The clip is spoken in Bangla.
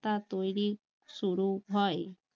তা তৈরি শুরু হওঁই